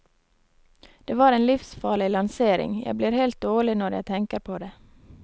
Det var en livsfarlig lansering, jeg blir helt dårlig når jeg tenker på det.